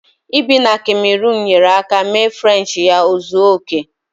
Ibi na kamerunu nyeere aka mee Frenchi ya ozuo oke